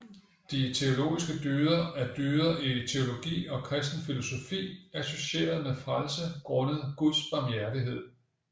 De teologiske dyder er dyder i teologi og kristen filosofi associeret med frelse grundet guds barmhjertighed